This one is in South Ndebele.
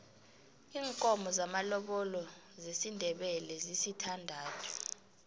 iinkomo zamalobolo zesindebele zisithandathu